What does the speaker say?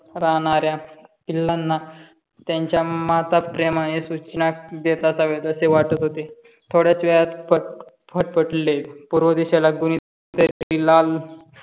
राहणाऱ्या पिल्लांना त्यांच्या माता प्रेमाने सूचना देत हव्यात असे वाटत होते थोड्याच वेळात फट फटफटले पूर्व दिशेला कुणी कुणीतरी लाल